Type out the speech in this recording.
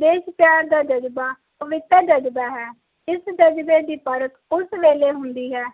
ਦੇਸ਼ਪਯਾਰ ਦਾ ਜਜ਼ਬਾ ਅਜਿਹਾ ਜਜ਼ਬਾ ਹੈ ਇਸ ਜਜ਼ਬੇ ਦੀ ਪਰਖ ਉਸ ਵੇਲੇ ਹੁੰਦੀ ਹੈ